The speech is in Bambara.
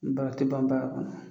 Ba a te ban baara kɔnɔ